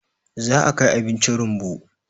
za a Kai abinci rumbu